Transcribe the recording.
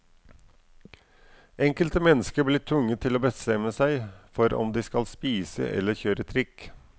Enkelte mennesker blir tvunget til å bestemme seg for om de skal spise eller kjøre trikk.